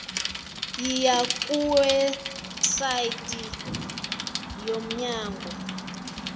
yiya kuwebsite yomnyango